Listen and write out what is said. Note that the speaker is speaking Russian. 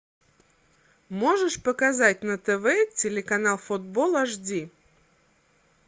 можешь показать на тв телеканал футбол аш ди